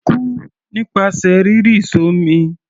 Kú nípasẹ̀ rírì s'ọ́mi!